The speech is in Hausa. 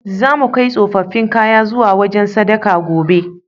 Zamu kai tsofaffin kayan zuwa wajen sadaka, gobe.